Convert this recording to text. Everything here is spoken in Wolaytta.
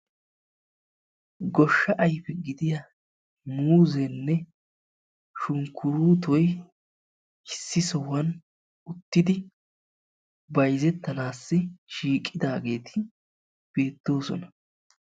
goshsha ayfe gidiya muuzeenne sunkkuruuttoy issi sohuwan uttidi bayzettanawu shiiqidaageeti beetoosona.